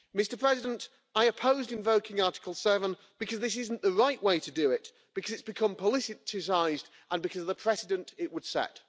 Mr President, I opposed invoking Article 7 because this is not the right way to do it, because it has become politicised and because of the precedent it would set.